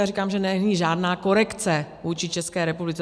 Já říkám, že není žádná korekce vůči České republice.